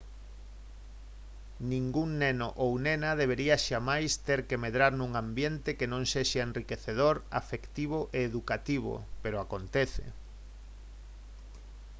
ningún neno ou nena debería xamais ter que medrar nun ambiente que non sexa enriquecedor afectivo e educativo pero acontece